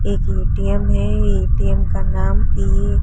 एक ए_टी_एम है ए_टी_एम का नाम ये--